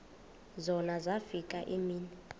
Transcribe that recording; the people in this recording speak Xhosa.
zona zafika iimini